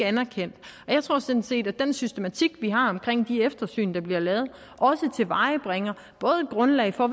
anerkendt jeg tror sådan set at den systematik vi har i de eftersyn der bliver lavet også tilvejebringer både et grundlag for at